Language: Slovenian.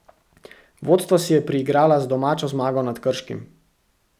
Vodstvo si je priigrala z domačo zmago nad Krškim.